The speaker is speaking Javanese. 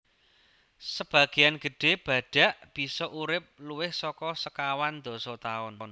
Sabagéyan gedhé badhak bisa urip luwih saka sekawan dasa taun